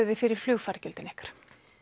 þið fyrir flugfargjöldin ykkar